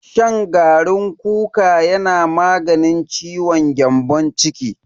Shan garin kuka yana maganin ciwon gyambon ciki.